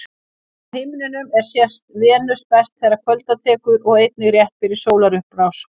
Á himninum er sést Venus best þegar kvölda tekur og einnig rétt fyrir sólarupprás.